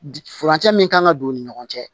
Furancɛ min kan ka don u ni ɲɔgɔn cɛ